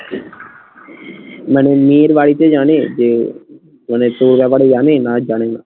মানে মেয়ের বাড়িতে জানে যে মানে তোর ব্যাপারে জানে না জানে না?